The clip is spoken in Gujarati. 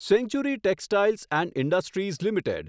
century textiles and industries limited